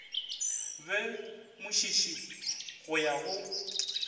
be mošiši go ya go